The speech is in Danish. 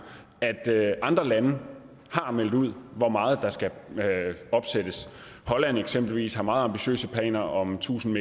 at andre lande har meldt ud hvor meget der skal opsættes holland eksempelvis har meget ambitiøse planer om tusind